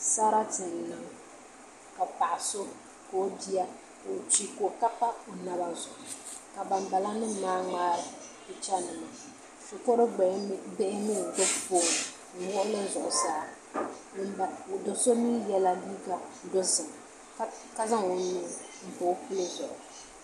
Sarati n-niŋ ka paɣ’ so ka o bia ka o kpi ka pa o naba zuɣu ka bana bala nima maa ŋmaari ba pichanima shikuru bihi mi n-gbubi fooni n-wuɣi li zuɣusaa do’ so mi yɛla liiga dozim ka zaŋ o nuu m-pa o puli zuɣu